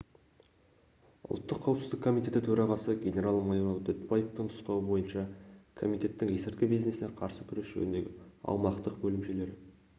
ұлттық қауіпсіздік комитетінің төрағасы генерал-майор дүтбаевтың нұсқауы бойынша комитеттің есірткі бизнесіне қарсы күрес жөніндегі аумақтық бөлімшелері